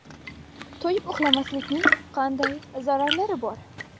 To‘yib uxlamaslikning organizmga qanday zararlari bor?.